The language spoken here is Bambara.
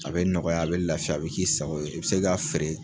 A bɛ nɔgɔya, a bɛ lafiya, a bi k'i sago ye, i bi se k'a feere